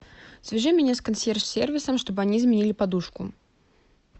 свяжи меня с консьерж сервисом чтобы они заменили подушку